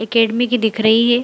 Academy की दिख रही है।